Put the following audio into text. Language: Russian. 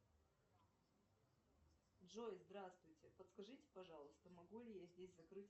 джой здравствуйте подскажите пожалуйста могу ли я здесь закрыть